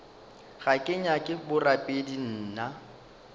ga ke nyake borapedi nna